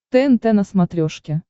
тнт на смотрешке